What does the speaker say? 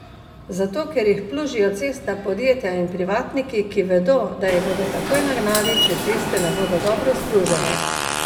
Zato ker jih plužijo cestna podjetja in privatniki, ki vedo, da jih bodo takoj nagnali, če ceste ne bodo dobro splužene.